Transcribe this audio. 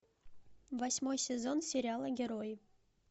восьмой сезон сериала герои